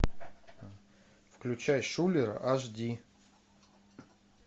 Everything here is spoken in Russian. включай шулер аш ди